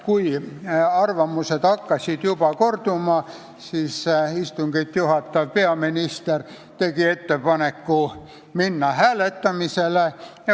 Kui arvamused hakkasid juba korduma, siis istungit juhatav peaminister tegi ettepaneku hääletada.